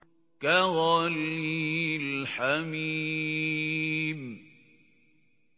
كَغَلْيِ الْحَمِيمِ